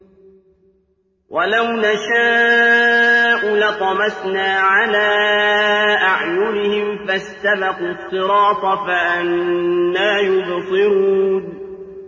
وَلَوْ نَشَاءُ لَطَمَسْنَا عَلَىٰ أَعْيُنِهِمْ فَاسْتَبَقُوا الصِّرَاطَ فَأَنَّىٰ يُبْصِرُونَ